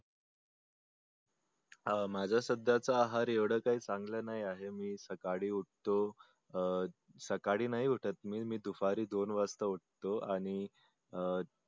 अं माझ सध्याच आहार एवडच आहे चांगल नाही आहे मी सकाळी उठतो सकाळी नाही उठत मी दुपारी दोन वाजता उठतो आणि अं